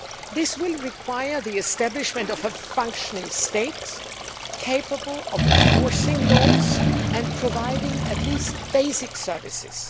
This will require the establishment of a functioning state, capable of enforcing laws and providing at least basic services.